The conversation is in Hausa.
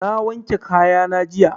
Na wanke kaya na jiya